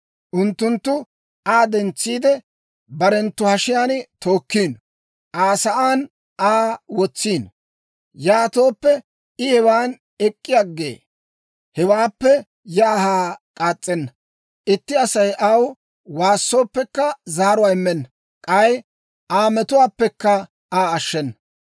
Unttunttu Aa dentsiide, barenttu hashiyaan tookkiino; Aa sa'aan Aa wotsiino. Yaatooppe I hewan ek'k'i aggee; hewaappe yaa haa k'aas's'enna. Itti Asay aw waassooppekka, zaaruwaa immenna; k'ay Aa metuwaappekka Aa ashshenna.